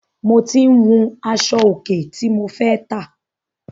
Mo tí ń wun aṣọ òkè tí mo fẹ́ tà.